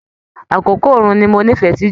Àkókò oòrùn ní mò nífẹẹ sí jù.